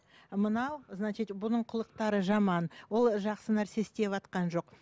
мынау значить бұның қылықтары жаман ол жақсы нәрсе ісватқан жоқ